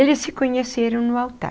Eles se conheceram no altar.